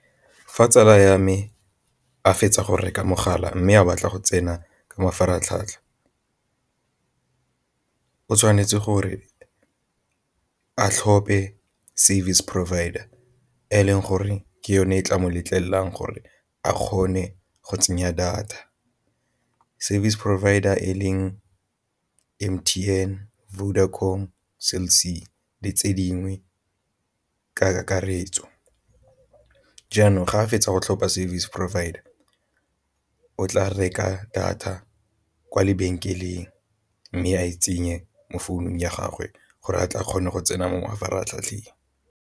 Fa tsala ya me a fetsa go reka mogala mme a batla go tsena ka mafaratlhatlha o tshwanetse gore a tlhophe service providere leng gore ke yone e tla mo letlelelang gore a kgone go tsenya data service provider e leng M_T_N, Vodacom, Cell C le tse dingwe kakaretso. Jaanong ga a fetsa tlhopha service provider o tla reka data kwa lebenkeleng, mme a e tsenye mo founung ya gagwe gore ba tla kgona go tsena mo mafaratlhatlheng.